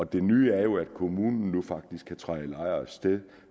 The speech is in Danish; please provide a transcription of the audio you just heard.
det nye er jo at kommunen nu faktisk kan træde i lejers sted